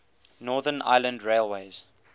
northern ireland railways